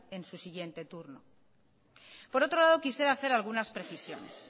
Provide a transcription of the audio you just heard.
en su siguiente turno por otro lado quisiera hacer algunas precisiones